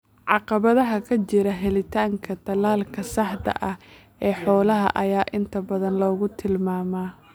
Caqabadaha ka jira helitaanka tallaalka saxda ah ee xoolaha ayaa inta badan lagu tilmaamaa.